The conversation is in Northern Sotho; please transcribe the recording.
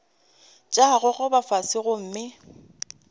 tša go gogoba fase gomme